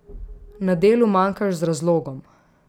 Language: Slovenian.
Na delu manjkaš z razlogom.